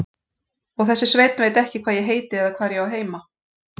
Og þessi Sveinn veit ekki hvað ég heiti eða hvar ég á heima.